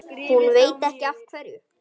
Hún veit ekki af hverju.